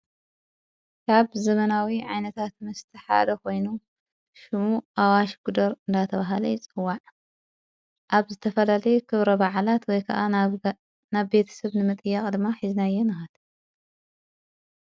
ካብ ዘመናዊ ዓይነታት መስተ ሓደ ኾይኑ ሽሙ ኣዋሽ ጉደር እንዳ ተብሃለ ይጽዋዕ ኣብ ዝተፈላለየ ኽብረ ባዓላት ወይ ከዓ ናብ ቤት ሰብ ንመጥያቕ ድማ ኂዝናየ ንከድ፡፡